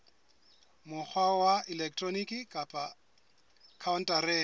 mokgwa wa elektroniki kapa khaontareng